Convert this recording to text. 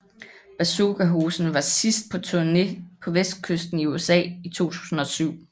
Bazookahosen var sidst på turné på vestkysten i USA i 2007